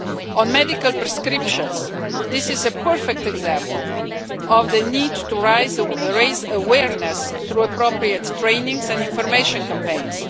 On medical prescriptions, this is a perfect example of the need to raise awareness through appropriate training courses and information campaigns.